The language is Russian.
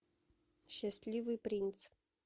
счастливый принц